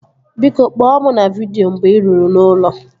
Biko, kpọọ mụ na vidịo mgbe ị ruru n'ụlọ